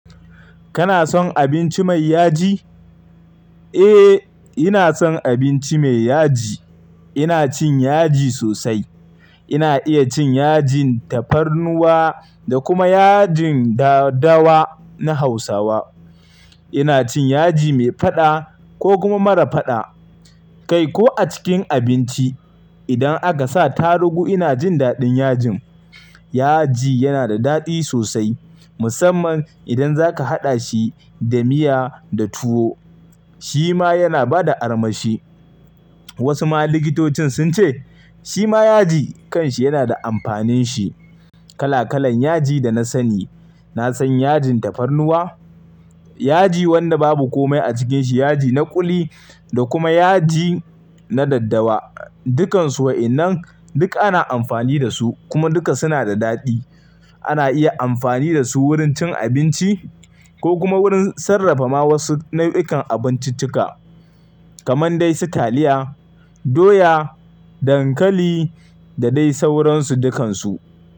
Kana son abinci mai yaji? Eh, ina son abinci mai yaji. Ina cin yaji sosai. Ina iya cin yajin tafarnuwa da kuma yajin dadawa na Hausawa. Ina cin yaji mai faɗa ko kuma mara faɗa. Kai ko a cikin abinci, idan aka sa tarugu ina jin daɗin yajin. Yaji yana da daɗi sosai musamman idan zaka haɗa shi da miya da tuwo. Shi ma yana ba da armashi. Wasu ma likitocin sun ce shi ma yaji kanshi yana da amfanin shi. Kala kalan yaji da na sani, na san yajin tafarnuwa, yaji wanda babu komai a cikin shi, yaji na kuli da kuma yaji na daddawa. Dukansu wa'innan duk ana amfani da su kuma duka suna da daɗi. Ana iya amfani da su wurin cin abinci ko kuma wurin sarrafa ma wasu nau'ikan abinciccika kamar dai su taliya, doya, dankali da dai sauransu dukansu.